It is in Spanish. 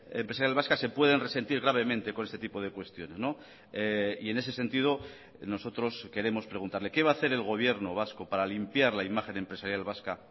empresarial vasca se pueden resentir gravemente con este tipo de cuestiones y en ese sentido nosotros queremos preguntarle qué va a hacer el gobierno vasco para limpiar la imagen empresarial vasca